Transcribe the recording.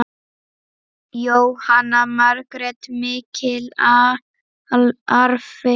Jóhanna Margrét: Mikill arfi?